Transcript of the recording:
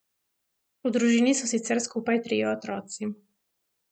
V družini so sicer skupaj trije otroci.